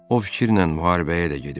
O fikirlə müharibəyə də gediblər.